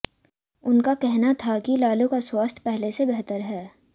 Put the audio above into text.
उनका कहना था कि लालू का स्वास्थ्य पहले से बेहतर है